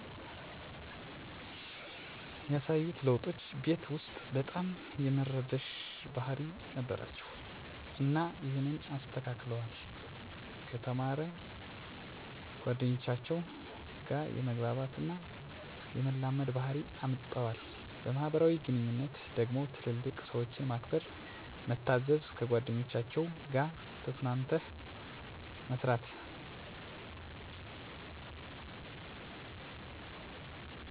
ያሳዩት ለዉጦች ቤት ዉስጥ በጣም የመረበሽ ባህሪ ነበራቸዉ እና ይሀንን አስተካክለዋል፣ ከተማሪ ጓደኞቻቸዉ ጋ የመግባባት እና የመላመድ ባህሪ አምጠዋል። በማህበራዊ ግንኙነቶች ደግሞ ትልልቅ ሰዎችን ማክበር፣ መታዘዝ፣ ከጓደኞቻቸዉ ጋ ተስማምተህ መጫወት፣ አለመጣላትን ያሉ ለዉጦችን አምጥተዋል። በሥነ-ስርዓት ደረጃ በጣም ተስተካክለዋል በፊት ሰዉ አታርጉ እሚላቸዉን አይሰሙም ነበር ከገቡ በኋላ ግን ተስተካክለዋል። የማወቅ ጉጉታቸዉ ደሞ መዝሙሮችን በመዘመር በጨዋታዎች መሀል ፊደላትን፣ ቁጥሮችን በመቁጠር ነዉ እሚጫወቱት።